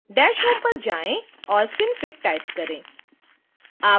dash home पर जाएँ और synfig टाइप करें